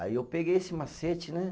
Aí eu peguei esse macete, né?